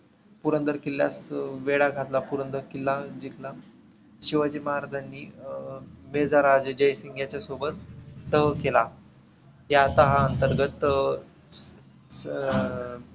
पुरंदर किल्ल्यात वेढा घातला. पुरंदर किल्ला जिंकला. शिवाजी महाराजांनी अं बेधाराजे जयसिंग ह्याच्यासोबत तह केला. ते आता हा अंतर्गत अं अं